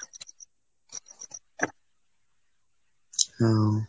হুম।